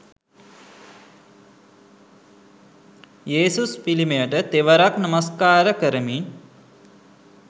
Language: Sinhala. යේසුස් පිළිමයට තෙවරක් නමස්කාර කරමින්.